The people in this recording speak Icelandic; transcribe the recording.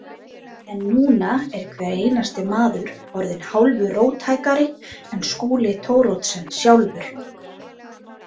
En núna er hver einasti maður orðinn hálfu róttækari en Skúli Thoroddsen sjálfur.